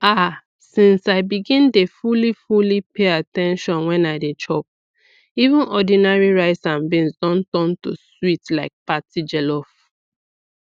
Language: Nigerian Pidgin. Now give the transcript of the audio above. ah since i begin dey fully fully pay at ten tion when i dey chop even ordinary rice and beans don turn to sweet like party jollof